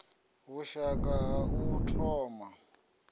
vhushaka ha u thoma na